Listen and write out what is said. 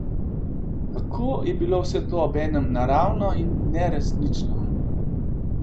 Kako je bilo vse to obenem naravno in neresnično!